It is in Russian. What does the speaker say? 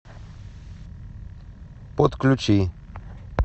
подключи